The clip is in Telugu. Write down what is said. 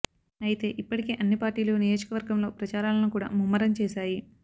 అయితే ఇప్పటికే అన్ని పార్టీలు నియోజకవర్గంలో ప్రచారాలను కూడా ముమ్మరం చేసాయి